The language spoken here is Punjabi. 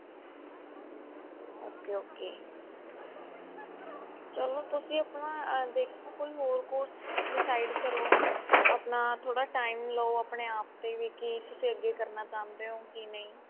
ok ok ਚੱਲੋ ਤੁਸੀਂ ਆਪਣਾ ਦੇਖੋ ਕੋਈ ਹੋਰ course decide ਕਰੋ ਆਪਣਾ ਥੋੜਾ time ਲੋ ਆਪਣੇ ਆਪ ਤੇ ਵੀ ਕਿ ਤੁਸੀਂ ਅੱਗੇ ਕਰਨਾ ਚਾਹੁੰਦੇ ਹੋ ਕਿ ਨਹੀਂ